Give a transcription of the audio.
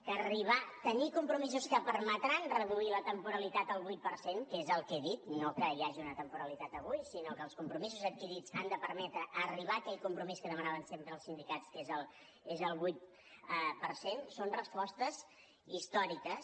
que tenir compromisos que permetran reduir la temporalitat al vuit per cent que és el que he dit no que hi hagi una temporalitat avui sinó que els compromisos adquirits han de permetre arribar a aquell compromís que demanaven sempre els sindicats que és el vuit per cent són respostes històriques